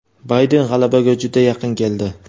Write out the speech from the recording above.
Bayden g‘alabaga juda yaqin keldi.